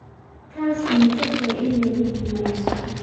Taasi ma fog tahay in lagu guuleysto?